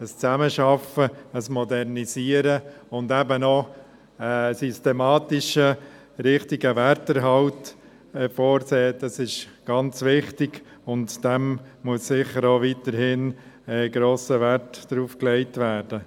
Das Zusammenarbeiten und Modernisieren und eben auch das Vorsehen eines systematischen, richtigen Werterhalts ist sehr wichtig, und dem muss weiterhin ein grosser Wert beigemessen werden.